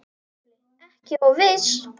SKÚLI: Ekki of viss!